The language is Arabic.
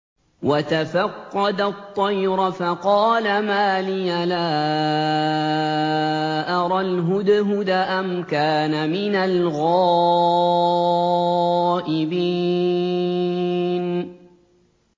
وَتَفَقَّدَ الطَّيْرَ فَقَالَ مَا لِيَ لَا أَرَى الْهُدْهُدَ أَمْ كَانَ مِنَ الْغَائِبِينَ